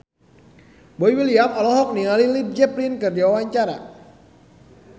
Boy William olohok ningali Led Zeppelin keur diwawancara